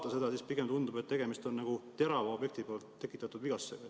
Kui vaadata, siis pigem tundub, et tegemist on terava objekti tekitatud vigastustega.